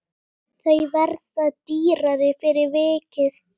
Þau verða dýrari fyrir vikið.